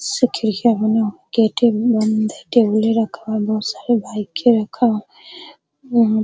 से खिड़कियाँ गेटे भी बंद है टेबुले रखा हुआ है बहुत सारे बाइके रखा हुआ हैं।